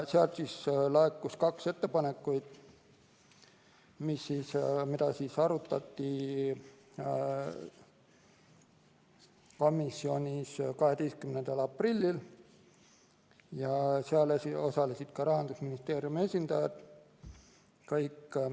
Sealt laekus kaks ettepanekut, mida arutati komisjonis 12. aprillil, osa võtsid ka Rahandusministeeriumi esindajad.